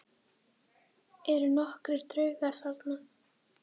Eru nokkrir draugar þarna?